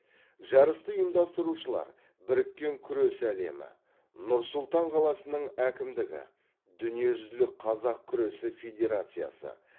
жарысты ұйымдастырушылар біріккен күрес әлемі нұр сұлтан қаласының әкімдігі дүниежүзілік қазақ күресі федерациясы